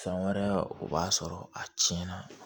Fɛn wɛrɛ o b'a sɔrɔ a tiɲɛna